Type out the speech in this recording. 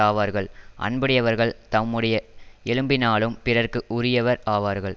ஆவார்கள் அன்புடையவர்கள் தம்முடைய எலும்பினாலும் பிறர்க்கு உரியவர் ஆவார்கள்